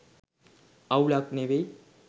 අවුලක් නෙවෙයි.